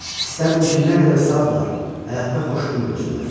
İstərdim ki, nə qədər sağdırlar, həyatda xoş gün görsünlər.